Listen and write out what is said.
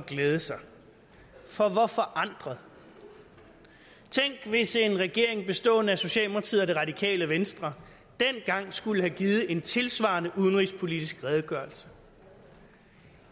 glæde sig for hvor forandret tænk hvis en regering bestående af socialdemokratiet og det radikale venstre dengang skulle have givet en tilsvarende udenrigspolitisk redegørelse